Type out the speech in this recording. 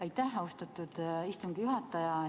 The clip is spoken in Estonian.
Aitäh, austatud istungi juhataja!